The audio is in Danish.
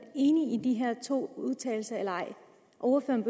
enig i de her to udtalelser eller ej ordføreren